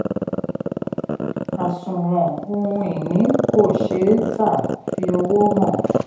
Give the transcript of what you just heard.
àsùwọ̀n ohun ìní ko ṣeé ta fi owó hàn.